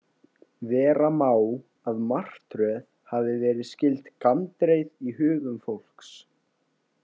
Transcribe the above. Vera má að martröð hafi verið skyld gandreið í hugum fólks.